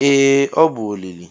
ee ọ bụ olili